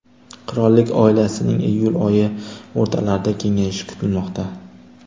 Qirollik oilasining iyul oyi o‘rtalarida kengayishi kutilmoqda.